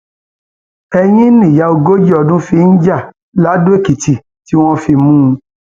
ẹyìn nìyá ogójì ọdún yìí fi ń já ladoèkìtì tí wọn fi mú un